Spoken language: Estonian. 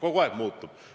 Kogu aeg muutub.